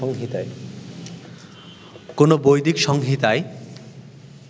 কোন বৈদিক সংহিতায়